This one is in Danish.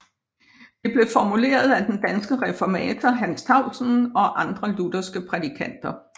Det blev formuleret af den danske reformator Hans Tausen og andre lutherske prædikanter